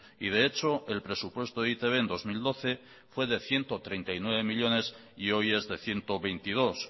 y de hecho el presupuesto de e i te be en dos mil doce fue de ciento treinta y nueve millónes y hoy es de ciento veintidós